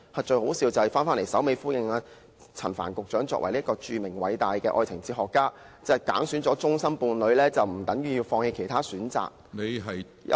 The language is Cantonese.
最可笑的是，陳帆局長作為"著名和偉大的愛情哲學家"，竟然說甚麼揀選了終身伴侶，不等於要放棄其他選擇，有時......